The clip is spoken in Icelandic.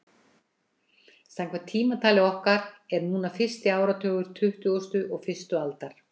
Samkvæmt tímatali okkar er núna fyrsti áratugur tuttugustu og fyrstu aldar.